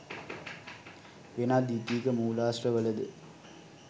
වෙනත් ද්විතීයික මූලාශ්‍රවල ද